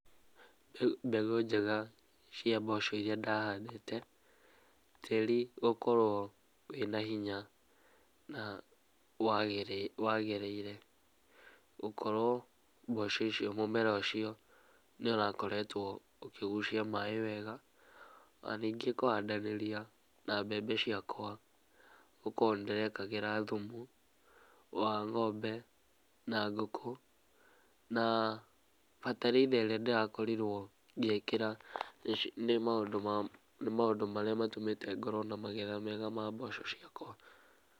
Mbegũ njega cia mboco iria ndahandĩte, tĩri gũkorwo wĩna hinya na wagĩrĩire, gũkorwo mboco icio mũmera ũcio nĩũrakoretwo ũkĩgucia maaĩ wega, ona ningĩ kũhandanĩria na mbembe ciakwa, gũkorwo nĩndĩrekĩraga thumu wa ng'ombe na ngũkũ, na bataraitha ĩrĩa ndĩrakorirwo ngĩkĩra nĩ maũndũ maria maratũmire ngorwo na magetha mega ma mboco ciakwa.